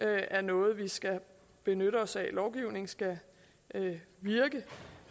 er noget vi skal benytte os af lovgivningen skal virke